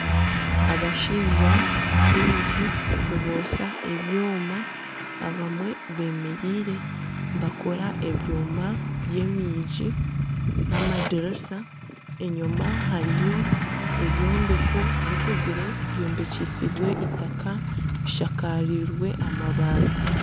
Abashaija baingi nibotsya ebyoma abamwe bemereire nibakora ebyoma by'enyigi n'amadirisa, enyima hariyo ebyombeko bikuzire byombekyesiibwe eitaka bishakaziibwe amabaati.